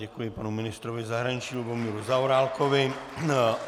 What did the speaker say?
Děkuji panu ministrovi zahraničí Lubomíru Zaorálkovi.